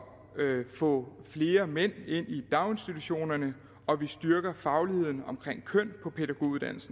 få flere mænd ind i daginstitutionerne og at vi styrker fagligheden omkring køn